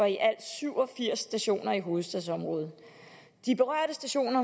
i alt syv og firs stationer i hovedstadsområdet de berørte stationer